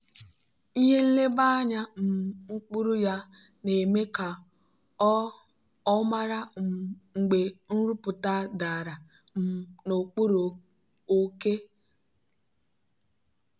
ihe nleba anya um mkpụrụ ya na-eme ka ọ ọ mara um mgbe nrụpụta dara um n'okpuru oke.